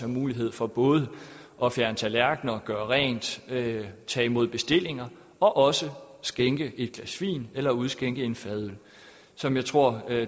mulighed for både at fjerne tallerkener gøre rent tage tage imod bestillinger og også skænke et glas vin eller udskænke en fadøl som jeg tror